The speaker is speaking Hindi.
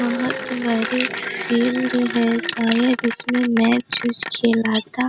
बहुत बड़ी फील्ड है शायद सारे इसमें मैच वैच खेला रहा था।